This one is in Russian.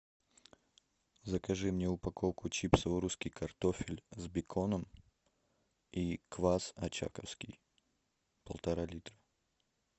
закажи мне упаковку чипсов русский картофель с беконом и квас очаковский полтора литра